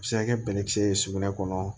A bɛ se ka kɛ bɛnɛkisɛ ye sugunɛ kɔnɔ